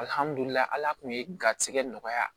ala tun ye garisigɛ nɔgɔya